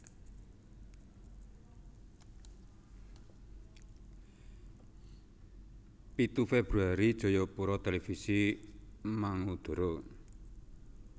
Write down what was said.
Pitu Februari Jayapura Televisi mangudara